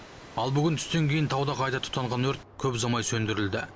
ал бүгін түстен кейін тауда қайта тұтанған өрт көп ұзамай сөндірілді